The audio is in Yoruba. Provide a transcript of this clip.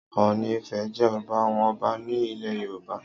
Ọọ̀ni Ifẹ̀ jẹ́ ọba àwọn ọba ní ilẹ̀ Yorùbá.